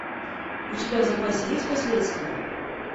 у тебя в запасе есть последствия